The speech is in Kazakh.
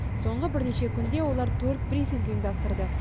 соңғы бірнеше күнде олар төрт брифинг ұйымдастырды